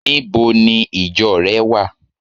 Níbo ni ìjo re wa?